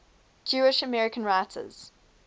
jewish american writers